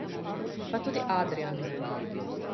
Pa tudi Adrijan ne.